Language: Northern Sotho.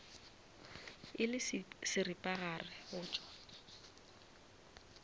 e le seripagare go tšwa